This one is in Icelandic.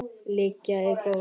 Lygin er góð.